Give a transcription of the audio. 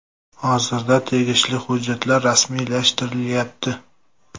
Hozirda tegishli hujjatlar rasmiylashtirilayapti.